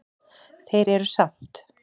Þeir eru samt